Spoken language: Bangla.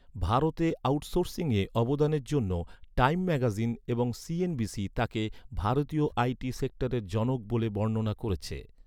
ভারতে আউটসোর্সিংয়ে অবদানের জন্য টাইম ম্যাগাজিন এবং সিএনবিসি তাকে 'ভারতীয় আইটি সেক্টরের জনক' ব’লে বর্ণনা করেছে।